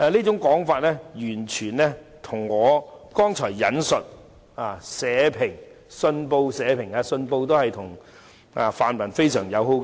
這完全吻合我剛才引述的《信報》社評，儘管《信報》與泛民關係非常友好。